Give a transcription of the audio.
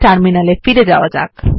terminal এ ফিরে যাওয়া যাক